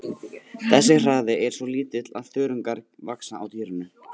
Þessi hraði er svo lítill að þörungar vaxa á dýrinu.